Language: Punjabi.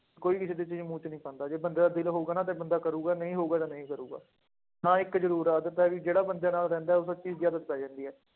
ਕੋਈ ਕਿਸੇ ਦੇ ਚੀਜ਼ ਮੂੰਹ ਚ ਨੀ ਪਾਉਂਦਾ, ਜੇ ਬੰਦੇ ਦਾ ਦਿਲ ਹੋਊਗਾ ਨਾ ਤੇ ਬੰਦਾ ਕਰੇਗਾ ਨਹੀਂ ਹੋਊਗਾ ਤਾਂ ਨਹੀਂ ਕਰੇਗਾ, ਹਾਂ ਇੱਕ ਜ਼ਰੂਰ ਆ ਜਿੱਦਾਂ ਕਿ ਜਿਹੜਾ ਬੰਦੇ ਨਾਲ ਰਹਿੰਦਾ ਹੈ ਉਸ ਚੀਜ਼ ਦੀ ਆਦਤ ਪੈ ਜਾਂਦੀ ਹੈ